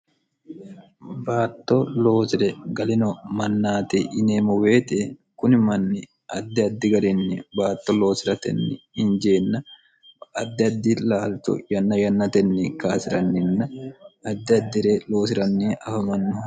baatto loosi're galino mannaati yineemmoweexe kuni manni addi addi garinni baatto loosiratenni injeenna addi addi laalcho yanna yannatenni kaasi'ranninna addi addi're loosiranni afamannoho